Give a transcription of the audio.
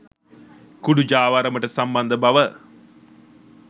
කුඩු ජාවාරමට සම්බන්ධ බව